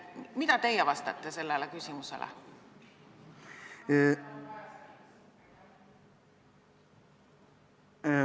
Mida teie vastate sellele küsimusele?